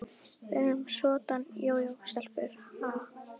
Við erum soddan jójó-stelpur, ha?